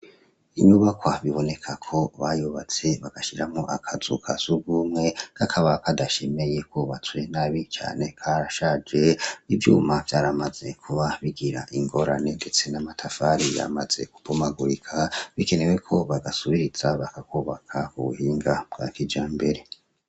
Inyubakwa biboneka ko bayubatse, bagashiramwo akazu ka surwumwe, kakaba kadashemeye kubatswe nabi cane, karashaje, ivyuma vyaramaze kuba bigira ingorane, ndetse n'amatafari yaramaze kubomagurika, bikenewe ko bagasubiriza, bakakubaka mu buhinga bwa kijambere.